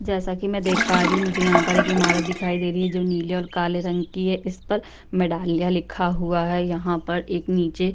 जैसा कि मैं देख पा रही हूं मुझे यहाँ पर एक इमारत दिखाई दे रही है जो नीले और काले रंग की है। इसपर मेडालिया लिखा हुआ है। यहाँ पर एक नीचे --